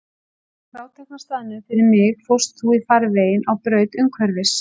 Á frátekna staðnum fyrir mig fórst þú í farveginn á braut umhverfis.